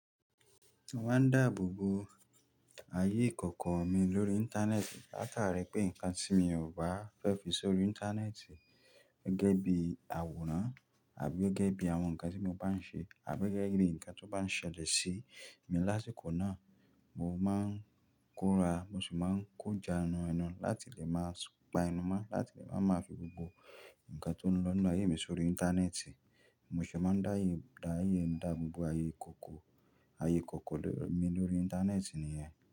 Mo máa ń dáàbò bo ayé ìkọ̀kọ̀ mi lórí Íńtánẹ́ẹ̀tì. Láàkàrí pé nǹkan tí mo bà fẹ́ fi sórí Íńtánẹ́ẹ̀tì gẹ́gẹ́ bí àwòrán àbí gẹ́gẹ́ bí àwọn nǹkan tí mo bá n ṣe àbí gẹ́gẹ́ bí nǹkan tó bá n ṣẹlẹ̀ sí mi lásìkò náà. Mo máa ń kóra, mo sì máa ń kọ́ ja ẹnu ẹnu láti lè máa pa ẹnu mọ́, láti lè máa mọ àfi gbogbo nǹkan tó lọ ní àyè mi sórí Íńtánẹ́ẹ̀tì. Mo sì máa ń dáàyè, dáàyè ń dáàbò bo ayé ìkọ̀kọ̀, ayé ìkọ̀kọ̀ mi lórí Íńtánẹ́ẹ̀tì nìyẹn.